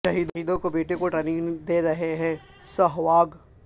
شہیدوں کے بیٹوں کو ٹریننگ دے رہے ہیں سہواگ